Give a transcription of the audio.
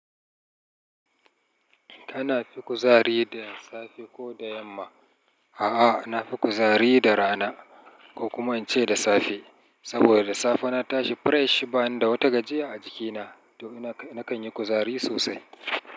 Kana fi kuzari da safe ko da yamma? A'a, na fi kuzari da rana ko kuma in ce da safe. Saboda da safe na tashi presh, bani da wata gajiya a jikina to ina k-- nakan yi kuzari sosai.